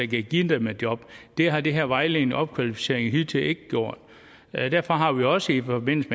kan give dem et job det har det her vejledende opkvalificering hidtil ikke gjort derfor har vi også i forbindelse